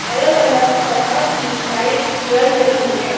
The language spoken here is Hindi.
अलग-अलग तरह की लाइट्स जल रही हैं।